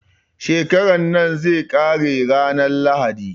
Shekaran nan zai ƙare ranar lahadi